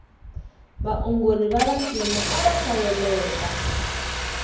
vaongori vavantima ava hlayeleka